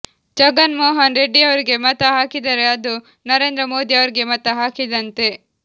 ಜಗನ್ ಮೋಹನ್ ರೆಡ್ಡಿಯವರಿಗೆ ಮತ ಹಾಕಿದರೆ ಅದು ನರೇಂದ್ರ ಮೋದಿ ಅವರಿಗೆ ಮತ ಹಾಕಿದಂತೆ